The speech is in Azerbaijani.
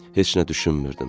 Heç nə düşünmürdüm.